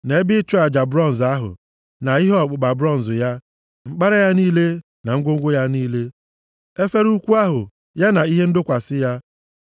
na ebe ịchụ aja bronz ahụ, na ihe ọkpụkpa bronz ya, mkpara ya niile na ngwongwo ya niile, efere ukwu ahụ ya na ihe ndọkwasị ya,